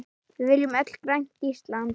Við viljum öll grænt Ísland.